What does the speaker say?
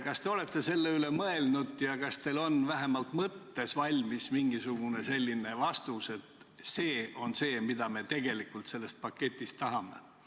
Kas te olete selle üle mõelnud ja kas teil on vähemalt mõttes valmis mingisugune vastus, et see on see, mida me tegelikult sellest paketist tahame?